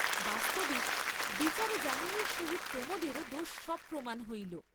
বাস্তবিক, বিচারে যামিনীর সহিত প্রমোদেরও দোষ সবপ্রমান হইল।